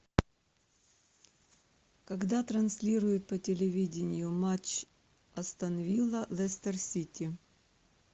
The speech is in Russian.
когда транслируют по телевидению матч астон вилла лестер сити